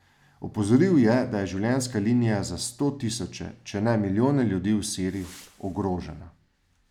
Opozoril je, da je življenjska linija za sto tisoče, če ne milijone ljudi v Siriji, ogrožena.